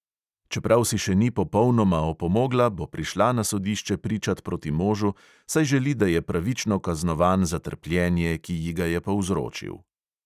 Čeprav si še ni popolnoma opomogla, bo prišla na sodišče pričat proti možu, saj želi, da je pravično kaznovan za trpljenje, ki ji ga je povzročil.